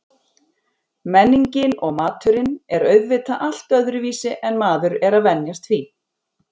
Menningin og maturinn er auðvitað allt öðruvísi en maður er að venjast því.